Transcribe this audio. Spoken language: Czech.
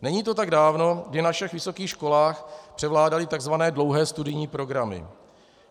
Není to tak dávno, kdy na všech vysokých školách převládaly tzv. dlouhé studijní programy.